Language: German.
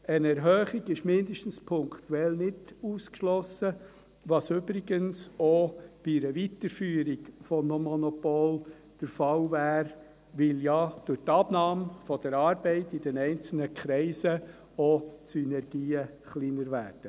Eine Erhöhung ist zumindest punktuell nicht ausgeschlossen, was übrigens auch bei einer Weiterführung des Monopols der Fall wäre, weil ja durch die Abnahme der Arbeit in den einzelnen Kreisen auch die Synergien kleiner werden.